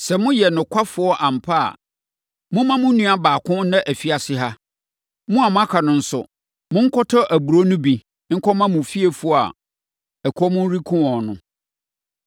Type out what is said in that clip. Sɛ moyɛ nokwafoɔ ampa ara a, momma mo nua baako nna afiase ha. Mo a moaka no nso, monkɔtɔ aburoo no bi nkɔma mo fiefoɔ a ɛkɔm rekum wɔn no.